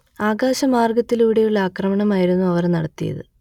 ആകാശമാർഗ്ഗത്തിലൂടെയുള്ള ആക്രമണമായിരുന്നു അവർ നടത്തിയത്